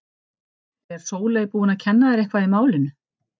Er Sóley búin að kenna þér eitthvað í málinu?